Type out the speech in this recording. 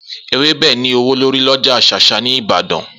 Ewébe ní ​​ówó lórí lọjà shasha ní Ìbàdàn.